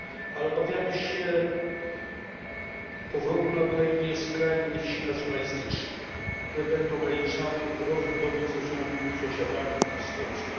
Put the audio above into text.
Ale obawiamy się powrotu na Ukrainie skrajnych sił nacjonalistycznych, które będą ograniczały rozwój dobrych stosunków z sąsiadami, w tym z Polską.